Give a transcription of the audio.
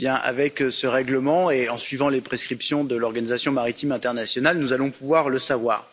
Avec ce règlement et en suivant les prescriptions de l'Organisation maritime internationale, nous allons pouvoir le savoir.